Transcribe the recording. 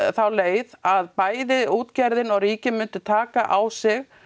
þá leið að bæði útgerðin og ríkið myndi taka á sig